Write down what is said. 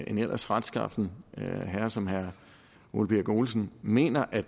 en ellers retskaffen herre som herre ole birk olesen mener at